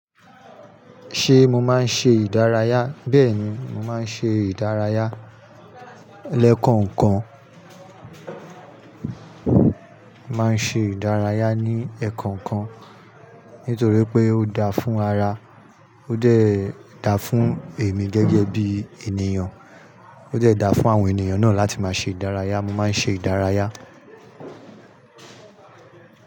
Ṣé mo máa ń ṣe ìdárayá? Bẹ́ẹ̀ni, mo máa ń ṣe ìdárayá. Lekan kan mo ma ń ṣe ìdárayá ní ẹ̀ẹ̀kọ̀kan kan. Nítorí pé ó dáa fún ara, ó de dáa fún èmi gẹ́gẹ́ bí ènìyàn, ó de dáa fún àwọn ènìyàn náà láti máa ṣe ìdárayá. Mo máa ń ṣe ìdárayá.